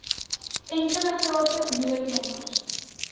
enkele gratis noodnommer